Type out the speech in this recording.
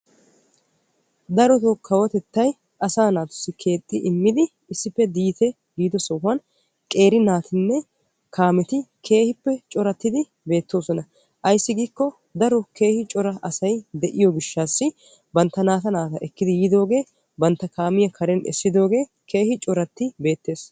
darotoo kawotettay asaa naatussi keexxi immidi issippe diite giido sohuwan qeeri naatinne kaameti corati beettoosona. ayssi giiko daro keehi cora asay de'iyo gishshaw bantta naata naata ekki yiidooge bantta kaamiyaa karen essidooge keehin coratti beettees.